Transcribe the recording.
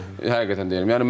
Həqiqətən deyirəm.